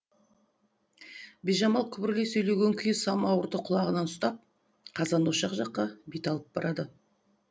бижамал күбірлей сөйлеген күйі самауырды құлағынан ұстап қазан ошақ жаққа бет алып барады